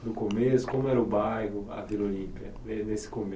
No começo, como era o bairro, a Vila Olimpia? Ne nesse